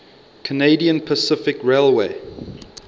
canadian pacific railway